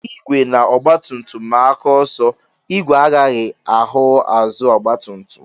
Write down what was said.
Igwe na ọgbatumtum maa aka ọsọ, ìgwè agaghị ahụ azụ ọgbatumtum